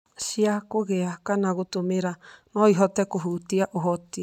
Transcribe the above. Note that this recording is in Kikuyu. cia kũgĩa kana gũtũmĩra, no ihote kũhutia ũhoti